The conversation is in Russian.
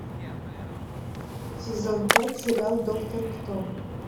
сезон пять сериал доктор кто